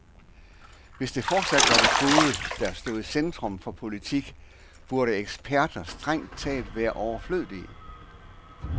Hvis det fortsat var det gode, der stod i centrum for politik, burde eksperter strengt taget være overflødige.